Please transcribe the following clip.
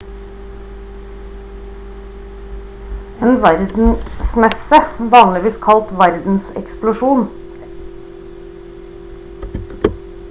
en verdensmesse vanligvis kalt verdenseksposisjon eller bare ekspo er stor internasjonal festival for kunst og vitenskap